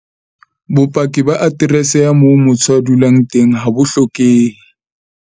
Bopaki ba aterese ya moo motho a dulang teng ha bo hlokehe.